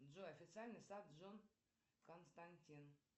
джой официальный сайт джон константин